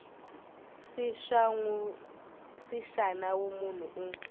c xa nawu munhu un